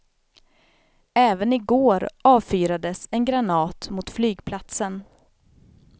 Även i går avfyrades en granat mot flygplatsen.